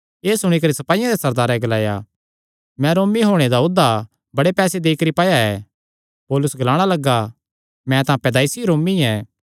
एह़ सुणी करी सपाईयां दे सरदारे ग्लाया मैं रोमी होणे दा औधा बड़े पैसे देई करी पाया ऐ पौलुस ग्लाणा लग्गा मैं तां पैदाईसी रोमी ऐ